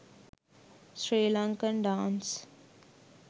sri lankan dance